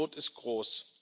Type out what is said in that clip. Die Not ist groß.